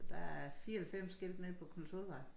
Der er 94 skilte nede på Knudshovedvej